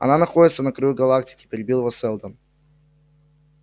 она находится на краю галактики перебил его сэлдон